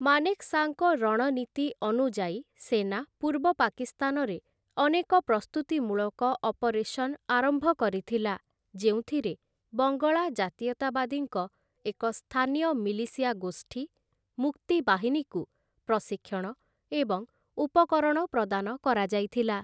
ମାନେକ୍‌ଶାଙ୍କ ରଣନୀତି ଅନୁଯାୟୀ, ସେନା ପୂର୍ବ ପାକିସ୍ତାନରେ ଅନେକ ପ୍ରସ୍ତୁତିମୂଳକ ଅପରେସନ ଆରମ୍ଭ କରିଥିଲା, ଯେଉଁଥିରେ ବଙ୍ଗଳା ଜାତୀୟତାବାଦୀଙ୍କ ଏକ ସ୍ଥାନୀୟ ମିଲିସିଆ ଗୋଷ୍ଠୀ 'ମୁକ୍ତି ବାହିନୀ'କୁ ପ୍ରଶିକ୍ଷଣ ଏବଂ ଉପକରଣ ପ୍ରଦାନ କରାଯାଇଥିଲା ।